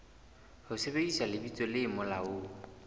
ho sebedisa lebitso le molaong